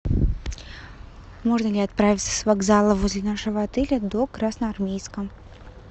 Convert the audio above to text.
можно ли отправиться с вокзала возле нашего отеля до красноармейска